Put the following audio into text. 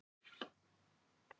Tíu ár Jón minn, leiðrétti Daðína.